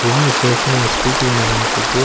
வெளிய ஃபேசினோ ஒரு ஸ்கூட்டி ஒன்னு நின்ட்டுருக்கு.